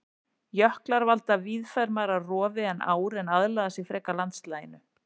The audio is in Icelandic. Jöklar valda víðfeðmara rofi en ár en aðlaga sig frekar landslaginu.